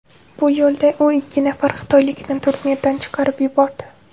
Bu yo‘lda u ikki nafar xitoylikni turnirdan chiqarib yubordi.